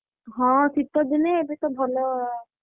ହଁ ଶୀତ ଦିନେ ଏବେ ତ ଭଲ,